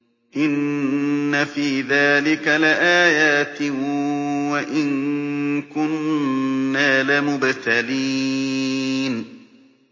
إِنَّ فِي ذَٰلِكَ لَآيَاتٍ وَإِن كُنَّا لَمُبْتَلِينَ